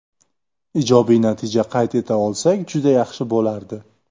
Ijobiy natija qayd eta olsak juda yaxshi bo‘lardi.